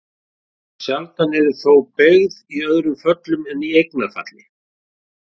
Sjaldan eru þau þó beygð í öðrum föllum en eignarfalli.